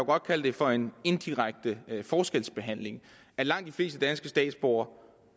godt kalde det for en indirekte forskelsbehandling at langt de fleste danske statsborgere